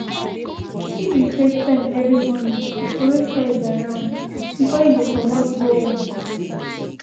he been create time every morning to troway toys around before he comot go work.